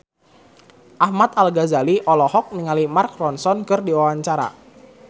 Ahmad Al-Ghazali olohok ningali Mark Ronson keur diwawancara